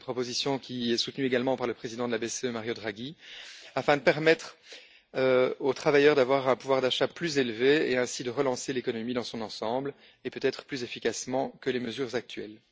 C'est une proposition qui est soutenue également par le président de la BCE, Mario Draghi, afin de permettre aux travailleurs d'avoir un pouvoir d'achat plus élevé et, ainsi, de relancer l'économie dans son ensemble, peut être plus efficacement que les mesures actuelles.